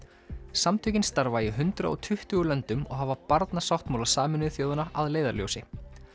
samtökin starfa í hundrað og tuttugu löndum og hafa Barnasáttmála Sameinuðu þjóðanna að leiðarljósi